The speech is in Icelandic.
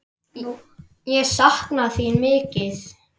Ég sakna þín mikið.